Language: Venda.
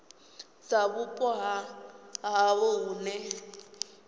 dza vhupo ha havho hune